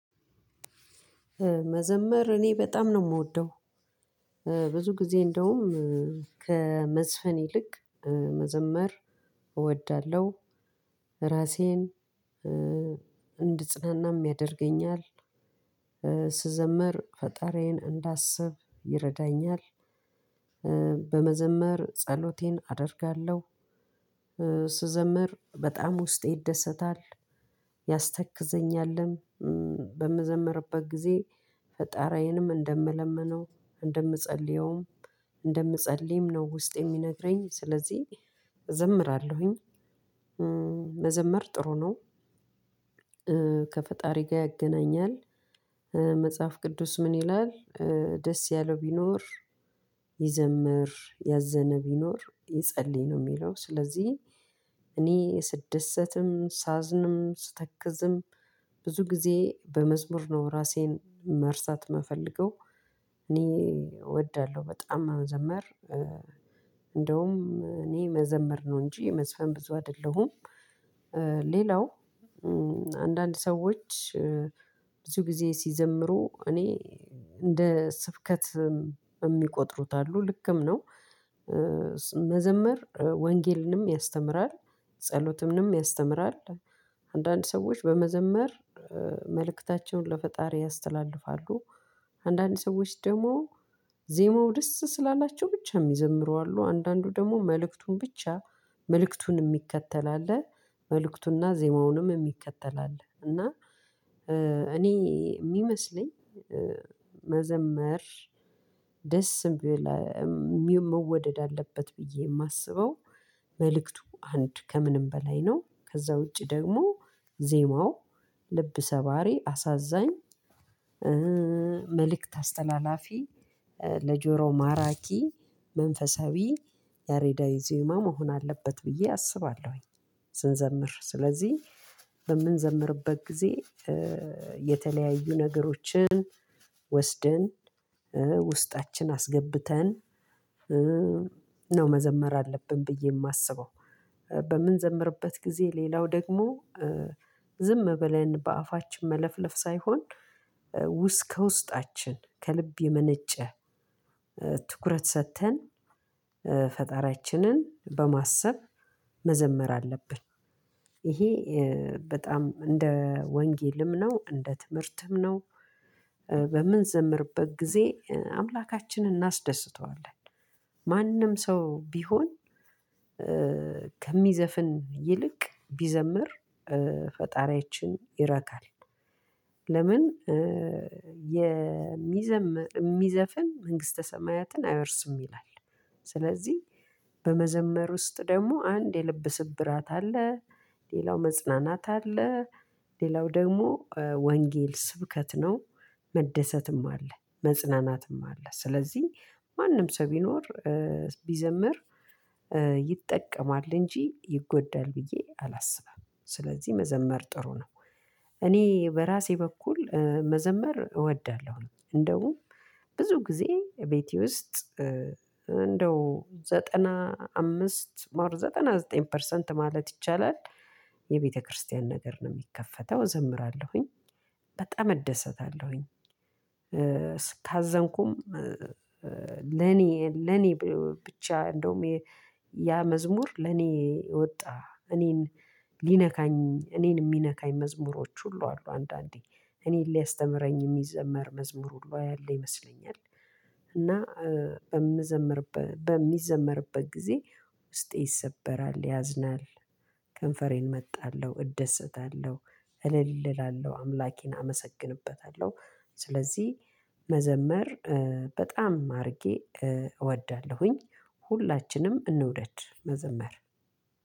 መዘመር እኔ በጣም ነው የምወደው። ብዙ ጊዜ እንደውም ከመዝፈን ይልቅ መዘመር እወዳለሁ። እራሴን እንድፅናናም ያደርገኛል። ስዘምር ፈጣሪዬን እንዳስብ ይረዳኛል። በመዘመር ጸሎቴን አደርጋለሁ። ስዘምር በጣም ውስጤ ይደሰታል። ያስተክዘኛልም በምዘምርበት ጊዜ ፈጣሪዬንም እንደምለምነው እንደምፀልየውም እንደምፀልይም ነው ውስጤ የሚነግረኝ ስለዚህ እዘምራለሁኝ። መዘመር ጥሩ ነው። ከፈጣሪ ጋር ያገናኛል። መጽሐፍ ቅዱስ ምን ይላል? ደስ ያለው ቢኖር ይዘምር ያዘነ ቢኖር ይጸልይ ነው የሚለው ስለዚህ። እኔ ስደሰትም ሳዝንም ስተክዝም ብዙ ጊዜ በመዝሙር ነው ራሴን መርሳት የምፈልገው። እኔ እወዳለሁ በጣም መዘመር። እኔ መዘምር ነው እንጂ መዝፈን ብዙ አይደለሁም። ሌላው አንዳንድ ሰዎች ብዙ ጊዜ ሲዘምሩ እኔ እንደ ስብከት የሚቆጥሩት አሉ ልክም ነው። መዘመር ወንጌልንም ያስተምራል ጸሎትንም ያስተምራል። አንዳንድ ሰዎች በመዘመር መልእክታቸውን ለፈጣሪ ያስተላልፋሉ። አንዳንድ ሰዎች ደግሞ ዜሞው ደስ ስላላቸው ብቻ የሚዘምሩ አሉ። አንዳንዱ ደግሞ መልእክቱን ብቻ መልእክቱን የሚከተል አለ። መልእክቱንና ዜማውንም የሚከተል አለ። እና እኔ የሚመስለኝ መዘመር የሚሆን መወደድ አለበት ብዬ የማስበው መልክቱ አንድ ከምንም በላይ ነው። ከዛ ውጪ ደግሞ ዜማው ልብ ሰባሪ አሳዛኝ መልእክት አስተላላፊ ለጆሮ ማራኪ መንፈሳዊ ያሬዳዊ ዜማ መሆን አለበት ብዬ አስባለሁኝ። ስንዘምር ስለዚህ በምንዘምርበት ጊዜ የተለያዩ ነገሮችን ወስደን ውስጣችን አስገብተን ነው መዘመር አለብን ብዬ የማስበው። በምንዘምርበት ጊዜ ሌላው ደግሞ ዝም ብለን በአፋችን መለፍለፍ ሳይሆን ከውስጣችን ከልብ የመነጨ ትኩረት ሰጥተን ፈጣሪያችንን በማሰብ መዘመር አለብን። ይሄ በጣም እንደ ወንጌልም ነው እንደ ትምህርትም ነው። በምንዘምርበት ጊዜ አምላካችንን እናስደስተዋለን። ማንም ሰው ቢሆን ከሚዘፍን ይልቅ ቢዘምር ፈጣሪያችን ይረካል። ለምን? የሚዘፍን መንግስተ ሰማያትን አይወርስም ይላል። ስለዚህ በመዘመር ውስጥ ደግሞ አንድ የልብ ስብራት አለ። ሌላው መጽናናት አለ። ሌላው ደግሞ ወንጌል ስብከት ነው። መደሰትም አለ መጽናናትም አለ ስለዚህ ማንም ሰው ቢኖር ቢዘምር ይጠቀማል እንጂ ይጎዳል ብዬ አላስብም። ስለዚህ መዘመር ጥሩ ነው። እኔ በራሴ በኩል መዘመር እወዳለሁ። እንደውም ብዙ ጊዜ ቤቴ ውስጥ እንደው ዘጠና አምስት ዘጠና ዘጠኝ ፐርሰንት ማለት ይቻላል። የቤተክርስቲያን ነገር ነው የሚከፈተው እዘምራለሁኝ በጣም እደሰታለሁኝ። ካዘንኩም ለኔ ለኔ ብቻ እንደውም ያ መዝሙር ለኔ የወጣ እኔን ሊነካኝ እኔን የሚነካኝ መዝሙሮች ሁሉ አሉ። አንዳንዴ እኔን ሊያስተምረኝ የሚዘመር መዝሙር ሁሉ ያለ ይመስለኛል። እና በምዘምር በሚዘምርበት ጊዜ ውስጤ ይሰበራል ያዝናል። ከንፈሬን እመጣለሁ እደሰታለሁ እልል እላለሁ አምላኬን አመሰግንበታለሁ። ስለዚህ መዘመር በጣም አድርጌ እወዳለሁኝ። ሁላችንም እንውደድ መዘመር